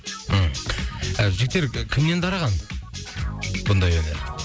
ыыы жігіттер кімнен дарыған бұндай өнер